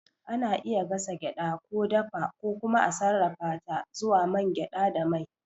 Ana iya gasa gyaɗa, ko dafa, ko kuma a sarrafa ta zuwa man gyada da mai.